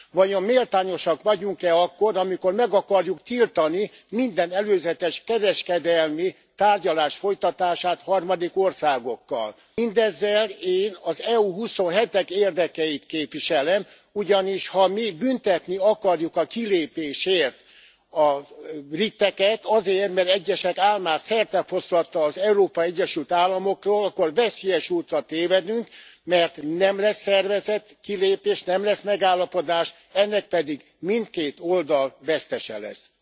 Vajon méltányosak vagyunk e akkor, amikor meg akarjuk tiltani minden előzetes kereskedelmi tárgyalás folytatását harmadik országokkal? Mindezzel én az EU huszonhetek érdekeit képviselem, ugyanis, ha mi büntetni akarjuk a kilépésért a briteket, azért mert egyesek álmát szertefoszlatta az Európai Egyesült Államokról, akkor veszélyes útra tévedünk, mert nem lesz szervezett kilépés, nem lesz megállapodás, ennek pedig mindkét oldal vesztese lesz.